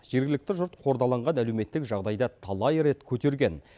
жергілікті жұрт қордаланған әлеуметтік жағдайды талай рет көтерген